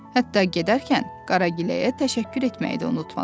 Hətta gedərkən Qaragiləyə təşəkkür etməyi də unutmadılar.